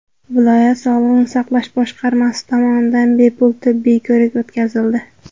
Viloyat sog‘liqni saqlash boshqarmasi tomonidan bepul tibbiy ko‘rik o‘tkazildi.